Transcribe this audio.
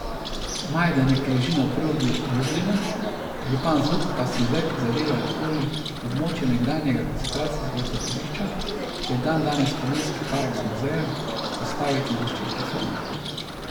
Majdanek leži na obrobju Lublina, župan Zuk pa si zdaj prizadeva okoli območja nekdanjega koncentracijskega taborišča, ki je dandanes spominski park z muzejem, vzpostaviti zaščitno cono.